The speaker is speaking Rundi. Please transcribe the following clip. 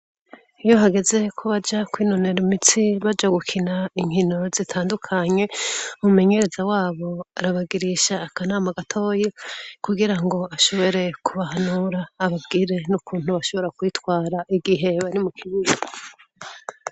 Iyo hageze ko baja kwinonora imitsi baja gukina inkino zitandukanye, umumenyereza wabo arabagirisha akanama gatoyi kugira ngo ashobore kubahanura ababwire n'ukuntu bashobora kwitwara igihe bari mu kibuga.